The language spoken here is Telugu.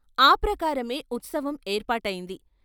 ఆ ప్రకారమే ఉత్సవం ఏర్పాటైంది.